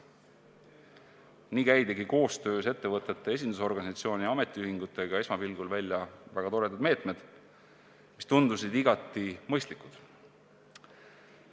Nii käidigi koostöös ettevõtete esindusorganisatsiooni ja ametiühingutega välja esmapilgul väga toredad meetmed, mis tundusid igati mõistlikud.